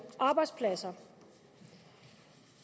arbejdspladser